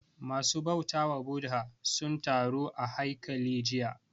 Ma su bautawa Bhudha sun taru a haikali jiya